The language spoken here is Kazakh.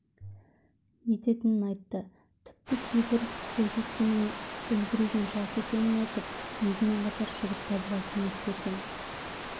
ететінін айтты тіпті кейбірі бойжеткеннің үлбіреген жас екенін айтып өзімен қатар жігіт табуға кеңес берген